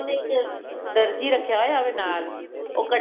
ਉਹਨੇ ਇੱਕ ਦਰਜ਼ੀ ਰੱਖਿਆ ਹੋਵੇ ਨਾਲ ਉਹ